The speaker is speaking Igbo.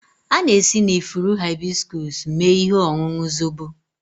A na-esi na ifuru hibiscus mee ihe ọṅụṅụ zobo